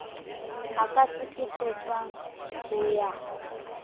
a ka hlekefetswang ho ya